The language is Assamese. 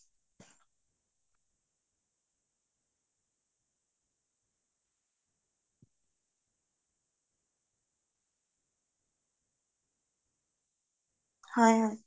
হয়